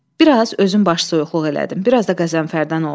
Bir az özüm başsoyuqluq elədim, bir az da Qəzənfərdən oldu.